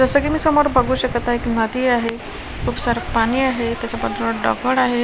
जसं की मी समोर बघू शकत आहे की माती आहे खूप सार पाणी आहे त्याच्या बाजूला दगड आहे.